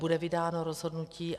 Bude vydáno rozhodnutí.